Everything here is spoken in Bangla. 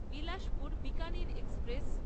বিলাসপুর বিকানির এক্সপ্রেস